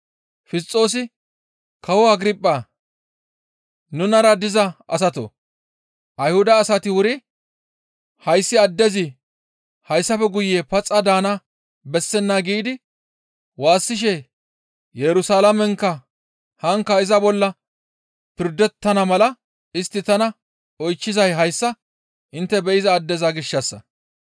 Fisxoosi, «Kawo Agirphaa! Nunara diza asatoo! Ayhuda asati wuri, ‹Hayssi addezi hayssafe guye paxa daana bessenna› giidi waassishe Yerusalaamenkka haankka iza bolla pirdettana mala istti tana oychchizay hayssa intte be7iza addeza gishshassa.